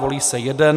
Volí se jeden.